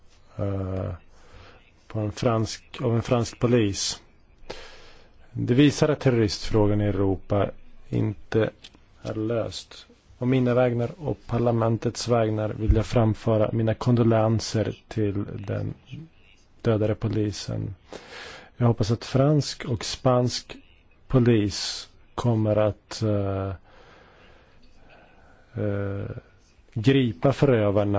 ETA francuskiego policjanta, pana Jeana Serge'a Nérina, uświadamia nam, że problem terroryzmu w Europie nie został jeszcze rozwiązany. W imieniu swoim i Parlamentu przekazuję wyrazy współczucia rodzinie zamordowanego. Mamy nadzieję, że policja hiszpańska i francuska doprowadzi